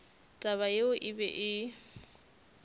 taba yeo e be e